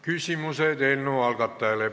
Küsimused eelnõu algatajale.